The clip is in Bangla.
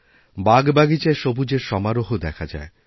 বাগবাগিচায় সবুজের সমারোহ দেখা যায়